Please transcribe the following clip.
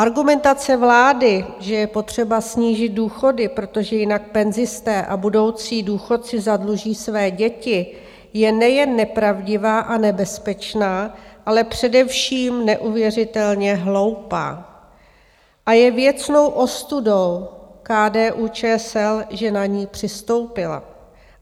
Argumentace vlády, že je potřeba snížit důchody, protože jinak penzisté a budoucí důchodci zadluží své děti, je nejen nepravdivá a nebezpečná, ale především neuvěřitelně hloupá a je věcnou ostudou KDU-ČSL, že na ni přistoupila.